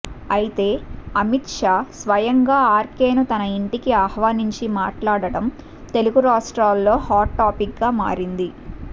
అయితే అమిత్షా స్వయంగా ఆర్కెను తన ఇంటికి ఆహ్వానించి మాట్లాడటం తెలుగు రాష్ట్రాల్లో హాట్ టాపిక్గా మారింది